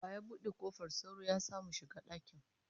Wa ya bude kofar sauro ya samu shiga dakin?